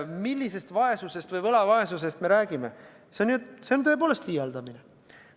Mis võlavaesusest me räägime?